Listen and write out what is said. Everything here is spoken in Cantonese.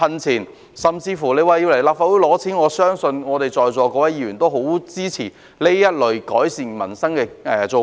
即使要來立法會申請撥款，我相信在座各位議員也會很支持這類改善民生的措施。